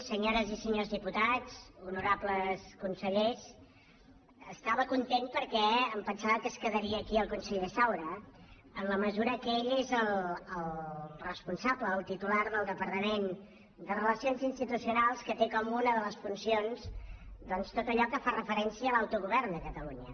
senyores i senyors diputats honorables consellers estava content perquè em pensava que es quedaria aquí el conseller saura en la mesura que ell és el responsable el titular del departament de relacions institucionals que té com una de les funcions doncs tot allò que fa referència a l’autogovern de catalunya